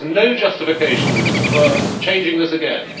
There is no justification for changing this again.